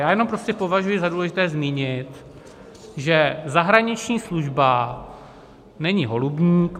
Já jenom prostě považuji za důležité zmínit, že zahraniční služba není holubník.